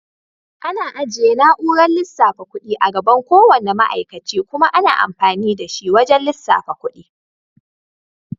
Ana ajiye na'urar lissafa kuɗi a gaban ko wanna ma'aikace kuma ana amfani da shi wajan lissafa kuɗi.